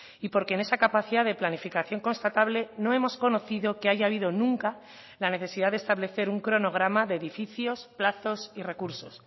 y porque en esa capacidad de planificación constatable no hemos conocido que haya habido nunca la necesidad de establecer un cronograma de edificios plazos y recursos